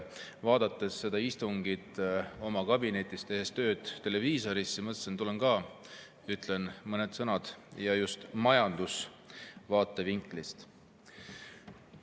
Vaadates seda istungit televiisorist ja oma kabinetis tööd tehes mõtlesin, et tulen ka ja ütlen mõned sõnad, ja just majanduse vaatevinklist.